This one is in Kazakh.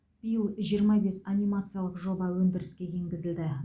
биыл жиырма бес анимациялық жоба өндіріске енгізілді